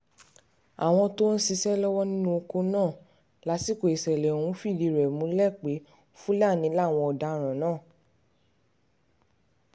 àwọn tó ń ṣiṣẹ́ lọ́wọ́ nínú ọkọ̀ náà lásìkò ìṣẹ̀lẹ̀ ọ̀hún um fìdí ẹ̀ múlẹ̀ pé fúlàní um làwọn ọ̀daràn náà